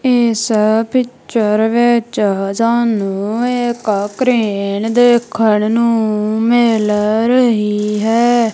ਏਸ ਪਿਕਚਰ ਵਿੱਚ ਸਾਨੂੰ ਇੱਕ ਕ੍ਰੇਨ ਦੇਖਣ ਨੂੰ ਮਿਲ ਰਹੀ ਹੈ।